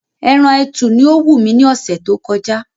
Ẹran ẹtù ni ó wù mí ní ọ̀sẹ̀ tó kọjá